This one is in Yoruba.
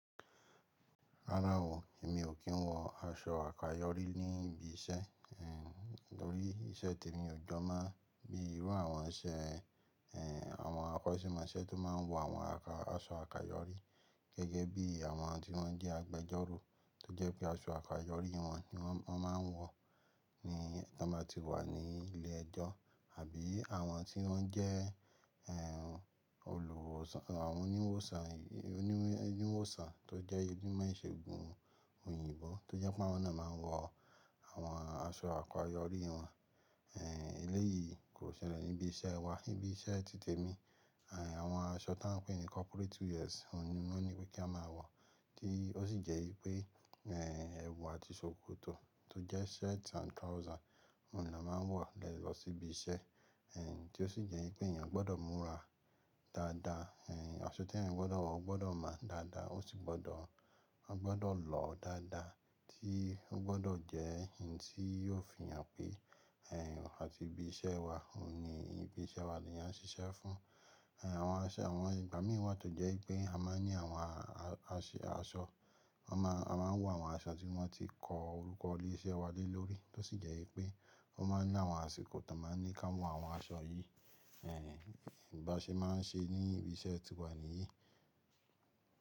Rárá o, èmi ò kí n wọ aṣọ àkayòrí ní ibi iṣẹ́, eh, lórí iṣẹ́ tèmi ò jọ má bí irú àwọn iṣẹ́, eh, àwọn akọ́ṣẹ́mọṣẹ́ tó má ń wọ àwọn àka-- aṣọ àkayòrí gẹ́gẹ́ bí àwọn tí wọ́n jẹ́ agbẹjọ́rò, tó jẹ́ pé aṣọ àkayòrí wọn ni wọ́n má ń wọ̀ ní nígbà tí wọ́n ní ilé ẹjọ́. Àbí àwọn tí wọ́n jẹ́, olùwòsàn, àwọn oníwòsàn tó jẹ́ onímọ̀ ìṣègùn òyìnbó tó jẹ́ pé wọ́n náà má ń wọ àwọn aṣọ àkayòrí wọn. Eléyìí kò ṣẹlẹ̀ ní ibi iṣẹ́ wa. Ibi iṣẹ́ ti tèmi, àwọn aṣọ tía ń pè ní corporate wears òun ni wọ́n ní pé kí a máa wọ, tí ó sì jẹ́ pé, ẹwù àti ṣòkòtò tó jẹ́ shirt and trouser òun ni a máa ń wọ̀ lọ sí ibi iṣẹ́. Tí ó sì jẹ́ pé èèyàn gbọ́dọ̀ múra dáadáa. Aṣọ tí èèyàn gbọ́dọ̀ wọ, ó gbọ́dọ̀ mọ dáadáa, ó sì gbọ́dọ̀, ó gbọ́dọ̀ lọ dáadáa tí ó gbọ́dọ̀ jẹ́ ohun tí yóò fi hàn pé, àti ibi iṣẹ́ wa, òun ni ibi iṣẹ́ wa ni á ń ṣiṣẹ́ fún. Àwọn aṣọ, àwọn ìgbà mí wá tó jẹ́ pé a máa ní àwọn aṣọ, a máà, a máa ń wọ àwọn aṣọ tí wọ́n ti kọ orúkọ ilé iṣẹ́ wa lé lórí, tó sì jẹ́ pé wọ́n máa ń ní àwọn àsìkò tí wọ́n máa ń ní kí á wọ àwọn aṣọ yìí. Báṣe má ń ṣe ní ibi iṣẹ́ tiwà níyí.